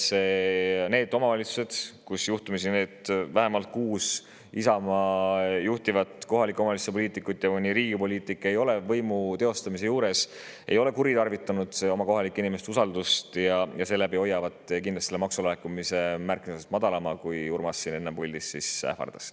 Need omavalitsused, vähemalt need kuus Isamaa juhitava kohaliku omavalitsuse poliitikut, mõni Riigi poliitik, ei ole võimu teostamise juures kuritarvitanud kohalike inimeste usaldust ja hoiavad kindlasti maksulaekumise märkimisväärselt madalama, kui Urmas siin enne puldist ähvardas.